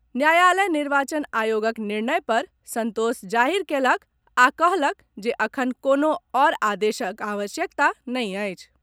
न्यायालय निर्वाचन आयोगक निर्णय पर संतोष जाहिर कयलक आ कहलक जे एखन कोनो आओर आदेशक आवश्यकता नहिं अछि।